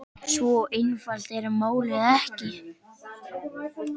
Svo einfalt er málið ekki.